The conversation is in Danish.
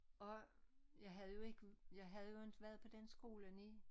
Og jeg havde jo ik jeg havde jo inte været på den skolen i